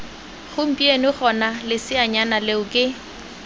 gompieno gona leseanyana leo ke